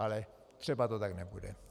Ale třeba to tak nebude.